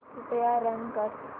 कृपया रन कर